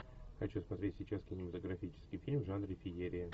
хочу смотреть сейчас кинематографический фильм в жанре феерия